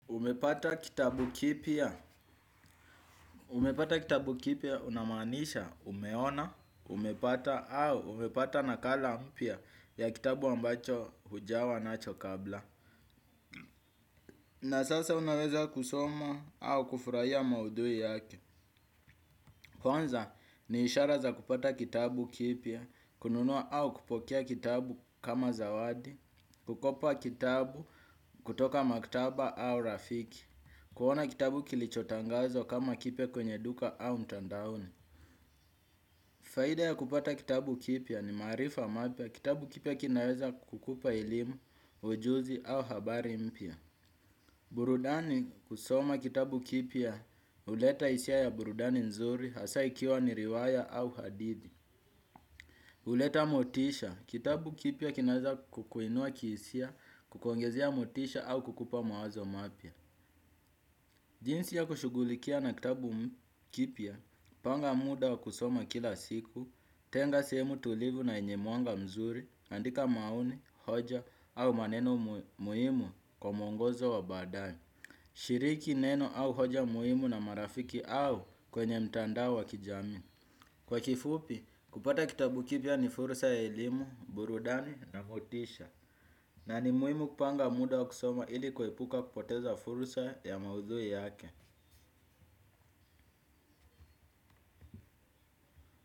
Umepata kitabu kipya, umepata kitabu kipya unamaanisha umeona, umepata au umepata nakala mpya ya kitabu ambacho hujawa nacho kabla. Na sasa unaweza kusoma au kufurahia maudhui yake. Kwanza ni ishara za kupata kitabu kipya, kununua au kupokea kitabu kama zawadi, kukopa kitabu kutoka maktaba au rafiki, kuona kitabu kilichotangazwa kama kipya kwenye duka au mtandaoni. Faida ya kupata kitabu kipya ni maarifa mapya kitabu kipya kinaweza kukupa elimu, ujuzi au habari mpya. Burudani kusoma kitabu kipya uleta hisia ya burudani nzuri hasa ikiwa ni riwaya au hadithi uleta motisha kitabu kipya kinaweza kukuinua kihisia, kukuongezea motisha au kukupa mawazo mapya. Jinsi ya kushugulikia na kitabu kipya, panga muda wa kusoma kila siku, tenga sehemu tulivu na yenye mwanga mzuri, andika maoni, hoja au maneno muhimu kwa mwongozo wa baadae, shiriki neno au hoja muhimu na marafiki au kwenye mtandao wa kijamii. Kwa kifupi, kupata kitabu kipya ni fursa ya elimu, burudani na motisha, na ni muhimu kupanga muda wa kusoma ili kuepuka kupoteza fursa ya maudhui yake.